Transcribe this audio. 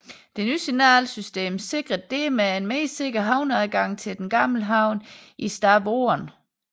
Det nye signal system sikrede dermed en mere sikker havneadgang til den gamle havn i Stavoren